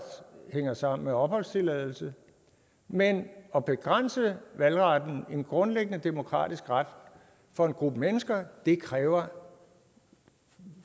hænger sammen med opholdstilladelse men at begrænse valgretten en grundlæggende demokratisk ret for en gruppe mennesker kræver